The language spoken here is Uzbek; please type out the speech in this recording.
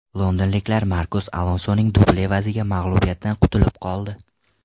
Londonliklar Markos Alonsoning dubli evaziga mag‘lubiyatdan qutulib qoldi.